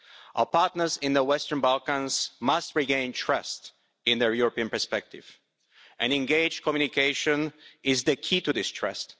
Our partners in the Western Balkans must regain trust in their European perspective, and engaged communication is the key to this trust.